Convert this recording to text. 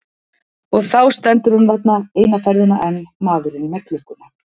Og þá stendur hann þarna, eina ferðina enn, maðurinn með klukkuna.